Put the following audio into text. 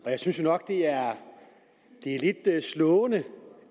og jeg synes nok at det er lidt slående